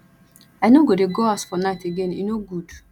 i no go dey go house for night again e no good